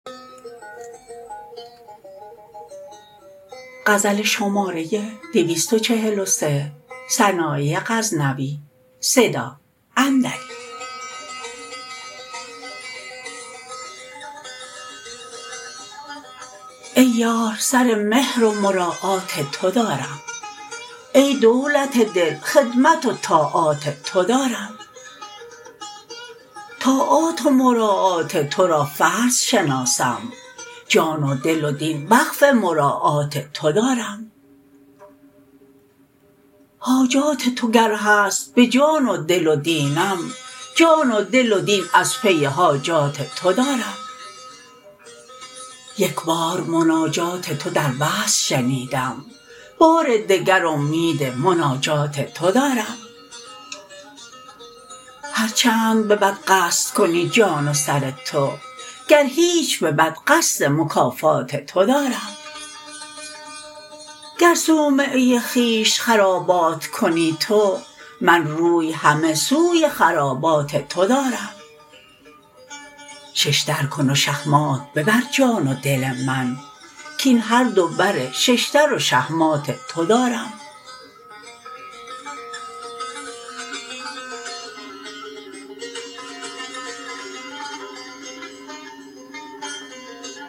ای یار سر مهر و مراعات تو دارم ای دولت دل خدمت و طاعات تو دارم طاعات و مراعات ترا فرض شناسم جان و دل و دین وقف مراعات تو دارم حاجات تو گر هست به جان و دل و دینم جان و دل و دین از پی حاجات تو دارم یک بار مناجات تو در وصل شنیدم بار دگر امید مناجات تو دارم هر چند به بد قصد کنی جان و سر تو گر هیچ به بد قصد مکافات تو دارم گر صومعه خویش خرابات کنی تو من روی همه سوی خرابات تو دارم ششدر کن و شهمات ببر جان و دل من کاین هر دو بر ششدر و شهمات تو دارم